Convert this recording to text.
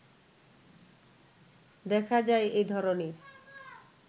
দেখা যায় এ ধরণের